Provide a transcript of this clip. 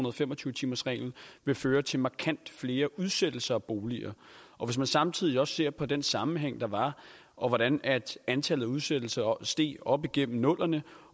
og fem og tyve timersreglen vil føre til markant flere udsættelser af boliger og hvis man samtidig også ser på den sammenhæng der var og hvordan antallet af udsættelser steg op gennem nullerne